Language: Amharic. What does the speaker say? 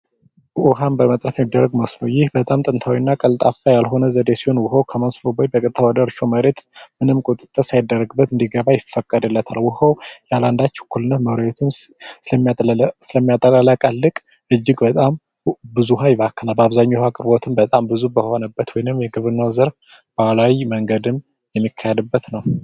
ውሃን በመቆፈር በጥልቀት ማስፈር ቀልጣፋ ያልሆነ ዘዴ ሲሆን ውሃው ወደ እርሻ መሬቱ ምንም ቁጥጥር ሳይደረግበት እንዲገባ ይፈቀድለታል ውሃው ያላንዳች እኩልነት መሬቱን ስለሚያጠለቅልቅ እጅግ በጣም ብዙ ይባክናል የውሃ አቅርቦትን እጅግ በጣም ብዙ በሆነበት በግብርና ዘርፍ ባህላዊ መንገድን የሚከተልበት ነው።